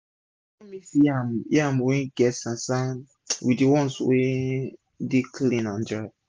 no mix yam wey wey get sand sand with d ones wey dey clean and dry